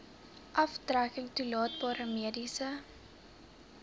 aftrekking toelaatbare mediese